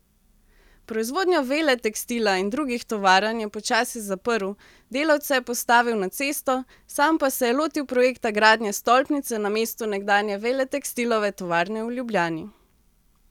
Proizvodnjo Veletekstila in drugih tovarn je počasi zaprl, delavce postavil na cesto, sam pa se lotil projekta gradnje stolpnice na mestu nekdanje Veletekstilove tovarne v Ljubljani.